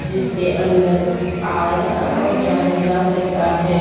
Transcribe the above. जिसके अंदर आया और जाया जा सकता है ।